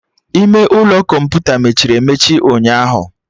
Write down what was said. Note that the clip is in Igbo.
Ime ụlọ kọmputa mechiri emechi ụnyaahụ